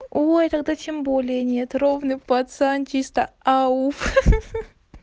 ой тогда тем более нет ровный пацан чисто ауф